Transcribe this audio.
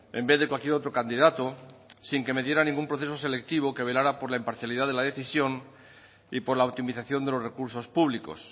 en vez de cualquier otro candidato sin que me diera ningún proceso selectivo que velara por la imparcialidad de la decisión y por la optimización de los recursos públicos